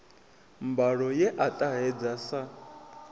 mbalo ye a ṱahedza sa